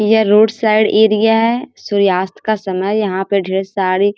ये road side area है सूर्यास्त का समय यहां पे ढेर साड़ी --